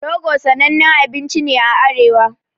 Rogo sanannen abinci ne a arewa